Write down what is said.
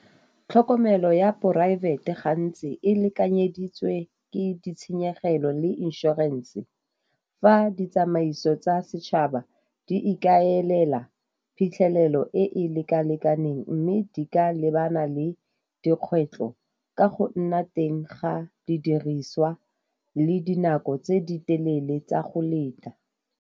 Tlhokomelo ya poraefete gantsi e lekanyeditswe ke ditshenyegelo le inšorense. Fa ditsamaiso tsa setšhaba di ikaelela phitlhelelo e e leka-lekaneng mme di ka lebana le dikgwetlho ka go nna teng ga didiriswa le dinako tse di telele tsa go leta.